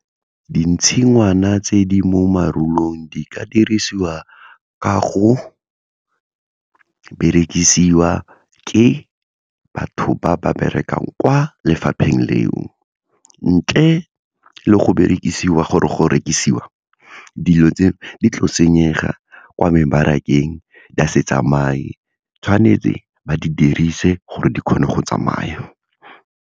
Dintshingwana tse di mo marulong di ka dirisiwa ka go berekisiwa ke batho ba ba berekang kwa lefapheng leo, ntle le go berekisiwa gore go rekisiwa, dilo tse di tlo senyega kwa mebarakeng di a se tsamaye tshwanetse ba di dirise gore di kgone go tsamaya.